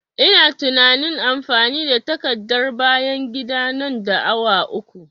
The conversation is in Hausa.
Ina tunain amfani da takardar bayan gida nan da awa uku